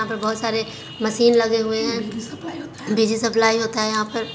यहाँ पर बहुत सारे मसीन लगे हुए है बिजली सप्लाइ होता है यहाँ पर--